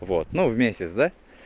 вот ну в месяц да